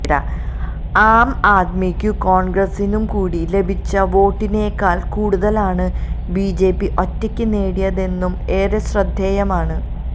ആം ആദ്മിക്കും കോണ്ഗ്രസിനും കൂടി ലഭിച്ച വോട്ടിനേക്കാള് കൂടുതലാണ് ബിജെപി ഒറ്റയ്ക്ക് നേടിയതെന്നതും ഏറെ ശ്രദ്ധേയമാണ്